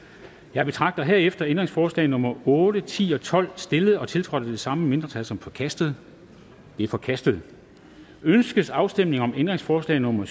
jeg betragter herefter ændringsforslag nummer otte ti og tolv stillet og tiltrådt af de samme mindretal som forkastet de er forkastet ønskes afstemning om ændringsforslag nummer